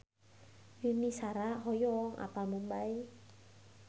Yuni Shara hoyong apal Mumbay